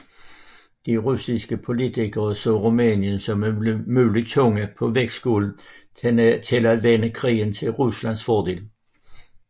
De russiske politikere så Rumænien som en mulig tunge på vægtskålen til at vende krigen til Ruslands fordel